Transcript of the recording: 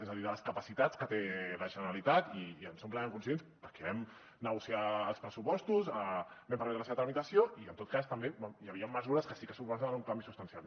és a dir de les capacitats que té la generalitat i en som plenament conscients perquè vam negociar els pressupostos vam parlar de la seva tramitació i en tot cas també hi havia mesures que sí que suposaven un canvi substancial